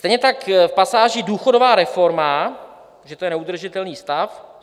Stejně tak v pasáži důchodová reforma, že to je neudržitelný stav.